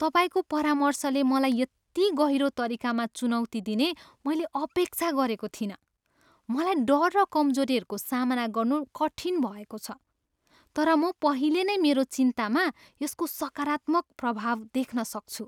तपाईँको परामर्शले मलाई यति गहिरो तरिकामा चुनौती दिने मैले अपेक्षा गरेको थिइनँ! मलाई डर र कमजोरीहरूको सामना गर्नु कठिन भएको छ, तर म पहिले नै मेरो चिन्तामा यसको सकारात्मक प्रभाव देख्न सक्छु।